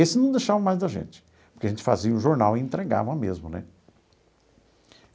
Esse não deixava mais da gente, porque a gente fazia o jornal e entregava mesmo, né?